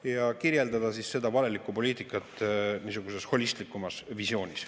Ja palume kirjeldada seda valelikku poliitikat niisuguses holistlikumas visioonis.